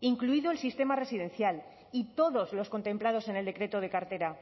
incluido el sistema residencial y todos los contemplados en el decreto de cartera